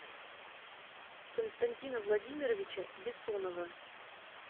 константина владимировича бессонова